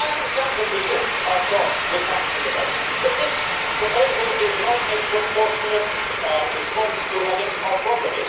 I understand that people are cross with banks at the moment, but this proposal is not a proportionate response to an identified problem.